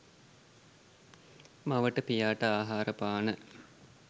මවට පියාට ආහාර පාන,